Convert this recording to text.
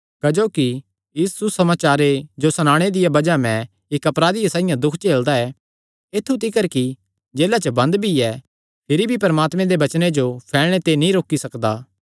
क्जोकि इस सुसमाचारे जो सणाणे दिया बज़ाह मैं इक्क अपराधियै साइआं दुख झेलदा ऐ ऐत्थु तिकर कि जेला च बंद भी ऐ फिरी भी परमात्मे दे वचने जो फैलणे ते कोई नीं रोकी सकदा ऐ